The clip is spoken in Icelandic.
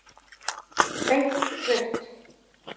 Beint rautt.